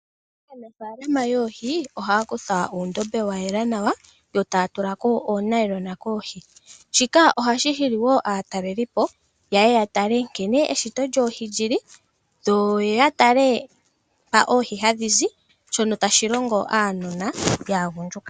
Aanafaalama yoohi oha ya kutha uundombe wa yela nawa, yo taa tulako oonayilona koohi. Shika ohashi hili woo aatalelipo yeye ya tale nkene eshito lyoohi lyi li, yo ya tale mpono oohi tadhi zi, shono tashi longo aanona yaagundjuka.